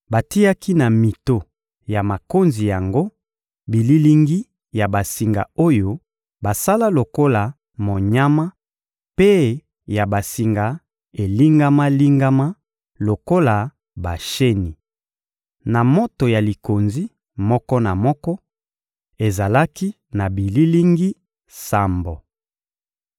Batiaki na mito ya makonzi yango bililingi ya basinga oyo basala lokola monyama mpe ya basinga elingama-lingama lokola basheni. Na moto ya likonzi moko na moko, ezalaki na bililingi sambo.